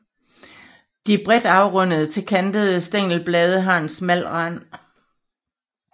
De bredt afrundede til kantede stængelblade har en smal rand